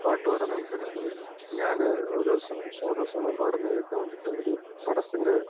പാട്ടുപാടാൻ ആൾകാർ ഇരുന്നുപോയി ഞാൻ ഒരു ദിവസം ഷാബാഷാബനം പാടുന്നത് കേൾക്കാൻ ഒരു പടത്തിന്റെ വേണ്ടിയിട്ടു